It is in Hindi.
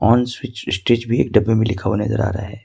ऑन स्ट्रेस भी डब्बे पर लिखा हुआ नजर आ रहा है।